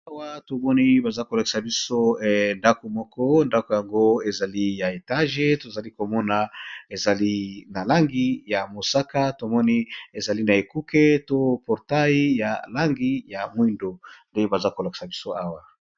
Awa tomoni, baza kolakisa biso ndako moko. Ndako yango ezali ya etage. Tozali komona ezali na langi ya mosaka. Tomoni, ezali na ekuke to portai ya langi ya mwindo. Nde baza kolakisa biso awa.